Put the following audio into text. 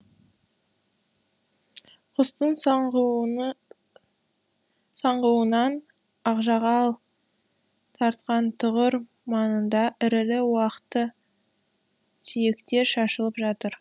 құстың саңғуынан ақжағал тартқан тұғыр маңында ірілі уақты сүйектер шашылып жатыр